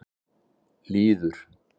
Lýður